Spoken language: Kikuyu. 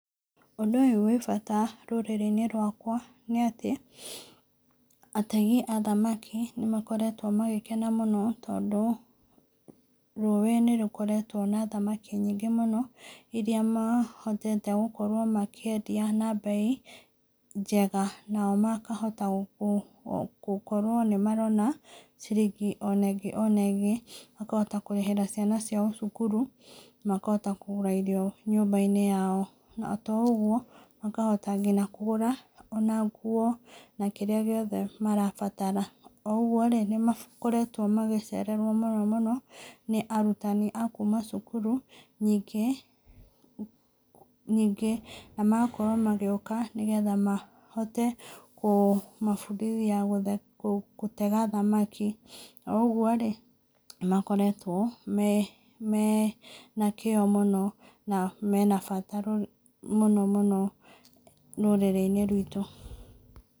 Ũndũ ũyũ wĩ bata rũrĩrĩ-inĩ rwakwa, nĩatĩ ategi a thamaki nĩmakoretwo magĩkena mũno tondũ rũĩ nĩ rũkoretwo na thamaki nyingĩ mũno, iria mahotete gũkorwo makĩendia na bei njega na makahota gũkorwo nĩmarona ciringi ona ĩngĩ ona ĩngĩ makahota kũrĩhĩra ciana ciao cukuru na makahota kũgũra irio nyũmba-inĩ yao. Na to ũguo, makahota nginya kũgũra ona nguo na kĩrĩa gĩothe marabatara. Oũguo rĩ, nĩmakakoretwo magiceererwo mũno mũno nĩ arutani a kuuma cukuru nyingĩ na magakorwo magĩũka nĩgetha mahote kũmabundithia gũtega thamaki, oũguo rĩ nĩmakoretwo me na kĩo mũno na mena bata mũno mũno rũrĩrĩ-inĩ rwitũ.